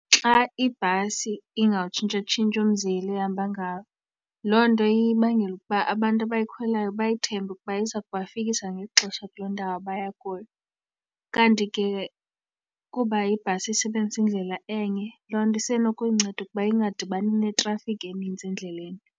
Xa ibhasi ingawutshintshatshintshi umzila ehamba ngawo loo nto ibangela ukuba abantu abayikhwelayo bayithemba ukuba iza kuba kufikisa ngexesha kuloo ndawo baya kuyo. Kanti ke kuba ibhasi isebenzisa indlela enye loo nto isenokuyinceda ukuba ingadibani neetrafikhi enintsi endleleni.